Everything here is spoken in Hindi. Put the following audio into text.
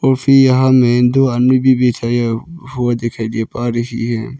और फिर यहां में दो आदमी भी बैठाया हुआ दिखाई दे पा रही है।